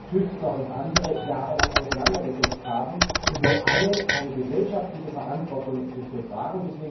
Tüftler und andere jahrelang auseinandergesetzt haben und wofür alle eine gesellschaftliche Verantwortung tragen.